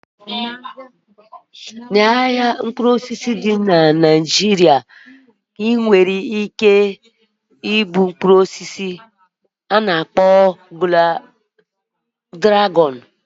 Na ahịa mkpụrụ osisi dị na Naijiria, ebere ike ịhụ Mkpụrụ osisi ana akpọ mkpụrụ osisi dragọn